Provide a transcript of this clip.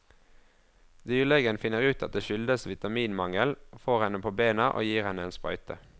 Dyrlegen finner ut at det skyldes vitaminmangel, får henne på bena og gir henne en sprøyte.